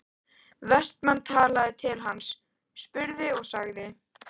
Vestmann talaði til hans, spurði og sagði